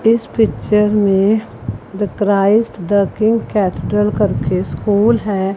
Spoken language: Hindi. इस पिक्चर में the Christ the King capital करके स्कूल है।